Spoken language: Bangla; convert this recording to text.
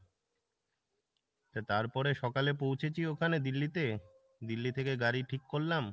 তা তারপরে সকালে পৌঁছেছি ওখানে দিল্লিতে, দিল্লি থেকে গাড়ি ঠিক করলাম।